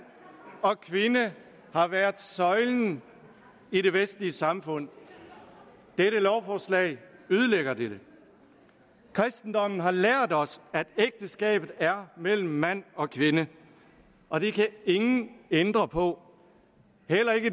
og kvinde har været søjlen i de vestlige samfund dette lovforslag ødelægger dette kristendommen har lært os at ægteskabet er mellem mand og kvinde og det kan ingen ændre på